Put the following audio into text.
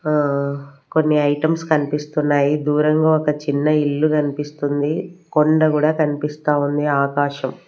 ఆ కొన్ని ఐటమ్స్ కనిపిస్తున్నాయి దూరంగా ఒక చిన్న ఇల్లు గనిపిస్తుంది కొండ గూడా కనిపిస్తా ఉంది ఆకాశం--